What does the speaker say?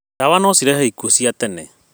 Ndawa no cirehe ikuo cia tene.